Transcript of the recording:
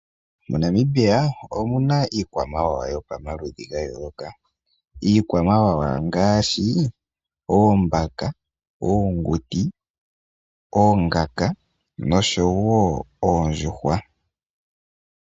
MoNamibia omu na iikwamawawa yopamaludhi ga yooloka, iikwamawawa ngaashi oombaka, oonguti, oonkanga nosho wo oondjuhwa.